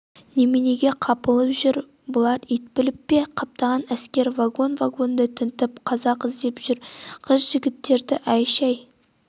неменеге қапылып жүр бұлар ит біліп пе қаптаған әскер вагон-вагонды тінтіп қазақ іздеп жүр қыз-жігіттерді әй-шәй